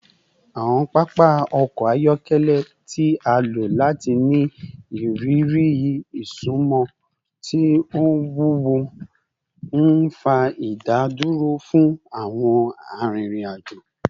Awọn papa ọkọ ayọkẹlẹ ti a lo lati ni iriri isunmọ ti o wuwo, nfa idaduro fun awọn arinrin-ajo